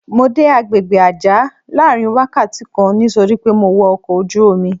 Mo dé àgbègbè Àjá láàárín wákàtí kan nítorí pé mo wọ ọkọ̀ ojú-omi.